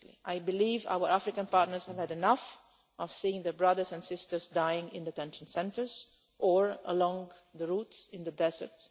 I believe our African partners had had enough of seeing their brothers and sisters dying in detention centres or along the route in the desert.